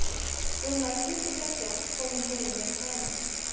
Rúmlega tuttugu og tveggja kom hún heim með Kana.